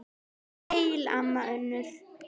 Vertu sæl, amma Unnur.